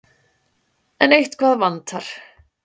En eitthvað vantar.